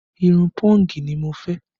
Irun pọ́ǹgì ni mo fẹ́